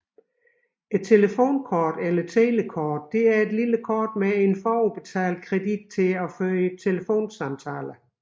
Et telefonkort eller telekort er et lille kort med forudbetalt kredit til at føre telefonsamtaler